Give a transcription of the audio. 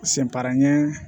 Sen paranɲɛ